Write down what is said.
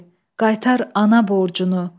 Qaytar ana borcunu.